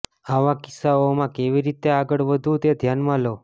આવા કિસ્સાઓમાં કેવી રીતે આગળ વધવું તે ધ્યાનમાં લો